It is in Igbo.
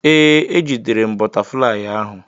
Ee, ejidere m bụtaflịyị ahụ.